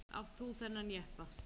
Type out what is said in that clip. Átt þú þennan jeppa?